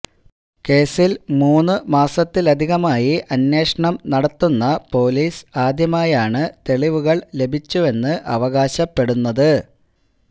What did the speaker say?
കേസിൽ മൂന്ന് മാസത്തിലധികമായി അന്വേഷണം നടത്തുന്ന പോലീസ് ആദ്യമായാണ് തെളുവുകൾ ലഭിച്ചുവെന്ന് അവകാശപ്പെടുന്നത്